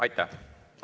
Aitäh!